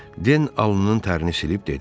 Den alnının tərini silib dedi.